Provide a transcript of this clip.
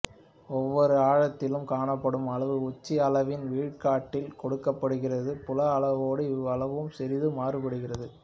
ஒவ்வொரு ஆழத்திலும் காணப்படும் அளவு உச்ச அளவின் விழுக்காட்டில் கொடுக்கப்படுகிறது புல அளவோடு இவ்வளவும் சிறிது மாறுபடுகிறது